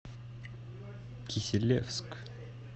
киселевск